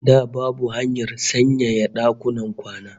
Da babu hanyar sanyaya dakunan kwana